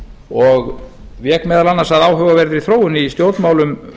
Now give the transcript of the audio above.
og vék meðal annars að áhugaverðri þróun í stjórnmálum